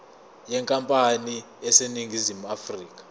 yenkampani eseningizimu afrika